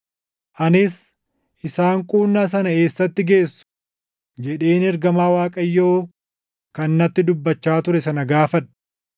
Anis, “Isaan quunnaa sana eessatti geessu?” jedheen ergamaa Waaqayyoo kan natti dubbachaa ture sana gaafadhe.